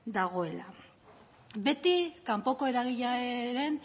dagoela beti kanpoko eragileen